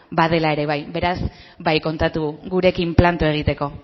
badela ere bai beraz bai kontatu gurekin planto egiteko